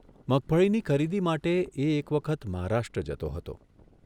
મગફળીની ખરીદી માટે એ એક વખત મહારાષ્ટ્ર જતો હતો.